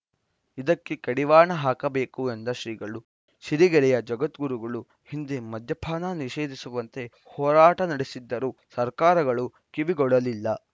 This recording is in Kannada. ಇದಕ್ಕೆ ಕಡಿವಾಣ ಹಾಕಬೇಕು ಎಂದ ಶ್ರೀಗಳು ಸಿರಿಗೆರೆಯ ಜಗದ್ಗುರುಗಳು ಹಿಂದೆ ಮದ್ಯಪಾನ ನಿಷೇಧಿಸುವಂತೆ ಹೋರಾಟ ನಡೆಸಿದ್ದರೂ ಸರ್ಕಾರಗಳು ಕಿವಿಗೊಡಲಿಲ್ಲ